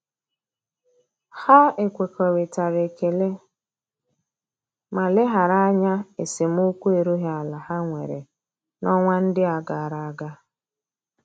Ha ekwekoritara ekele ma leghara anya esemokwu erughi ala ha nwere na-onwa ndi agaraga.